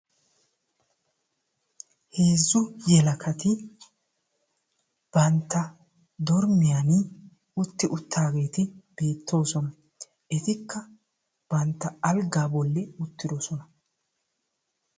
Heezzu yelagati bantta dormmiyan utti uttaageeti beettoosona. Etikka bantta alggaa bolli uttidosona.